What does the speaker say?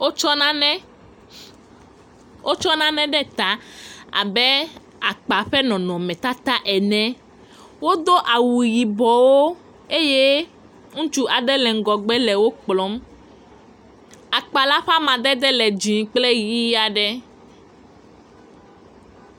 Wotsɔ nane, wotsɔ nane ɖe ta abe akpa ƒe nɔnɔmetata ene, wodo awu yibɔwo, eye ŋutsu aɖe le ŋgɔgbe le wo kplɔm, akpa la ƒe amadede le dzɛ̃ kple ʋɛ̃ aɖe.